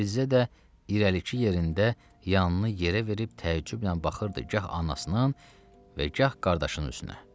Fizzə də irəlikçi yerində yanını yerə verib təəccüblə baxırdı, gah anasına, və gah qardaşının üstünə.